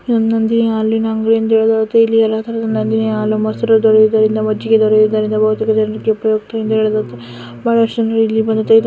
ನಂದಿನಿ ಹಾಲಿನ ಅಂಗಡಿ ಇಲ್ಲಿ ಎಲ್ಲ ತರಹದ ನಂದಿನಿ ಹಾಲು ಮೊಸರು ದೊರೆಯುವುದರಿಂದ ಮಜ್ಜಿಗೆ ದೊರೆಯುವುದರಿಂದ ಬಹುತೇಕ ಜನರಿಗೆ ಉಪಯುಕ್ತ ಎಂದ್ದು ಹೇಳಬಹುದು ಬಹಳಷ್ಟು ಜನರು ಇಲ್ಲಿ ಬಂದು ತೆಗೆದು--